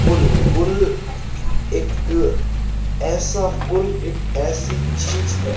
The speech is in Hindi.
पुल पुल एक ऐसा पुल एक ऐसी चीज है।